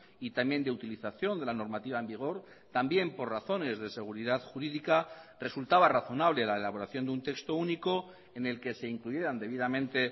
y también de utilización de la normativa en vigor también por razones de seguridad jurídica resultaba razonable la elaboración de un texto único en el que se incluyeran debidamente